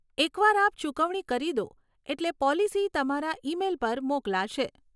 એક વાર આપ ચૂકવણી કરી દો, એટલે પોલિસી તમારા ઇ મેઈલ પર મોકલાશે.